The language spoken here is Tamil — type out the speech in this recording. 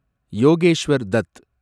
யோகேஷ்வர் டத்